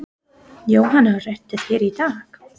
Jóhanna: Redda þér í dag?